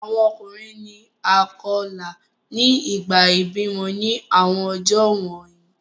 Awọn ọkunrin ni a kọla ni ìgbà ibimọ ni awọn ọjọ wọnyi